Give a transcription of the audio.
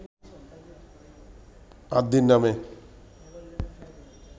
‘আদি’ নামে